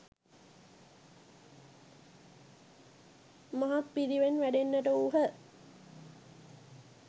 මහත් පිරිවරෙන් වැඩෙන්නට වූහ.